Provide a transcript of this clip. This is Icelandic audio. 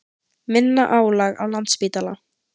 Minna álag á Landspítala